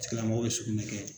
A tgilamɔgɔ bɛ sugunɛ kɛ.